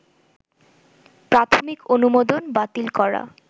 প্রাথমিক অনুমোদন বাতিল করা